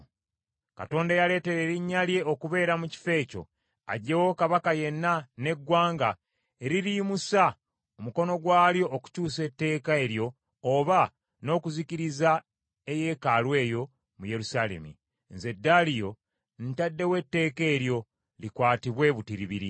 Katonda eyaleetera Erinnya lye okubeera mu kifo ekyo, aggyewo kabaka yenna n’eggwanga eririyimusa omukono gwalyo okukyusa etteeka eryo oba n’okuzikiriza eyeekaalu eyo mu Yerusaalemi. Nze Daliyo ntaddewo etteeka eryo. Likwatibwe butiribiri.